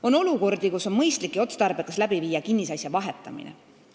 On olukordi, kus on mõistlik ja otstarbekas kinnisasjade vahetamine.